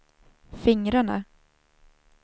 fingrarna